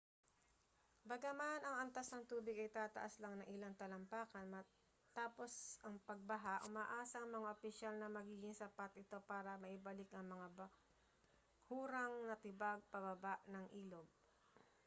bagaman ang antas ng tubig ay tataas lang ng ilang talampakan matapos ang pagbaha umaasa ang mga opisyal na magiging sapat ito para maibalik ang mga bahurang natibag pababa ng ilog